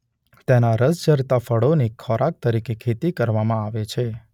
તેનાં રસ ઝરતાં ફળોની ખોરાક તરીકે ખેતી કરવામાં આવે છે.